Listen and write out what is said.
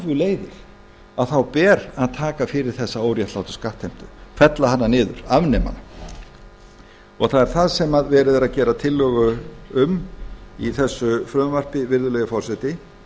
leiðir að þá ber að taka fyrir þessa óréttlátu skattheimtu fella hana niður afnema hana það er það sem verið er að gera tillögu um í þessu frumvarpi virðulegi forseti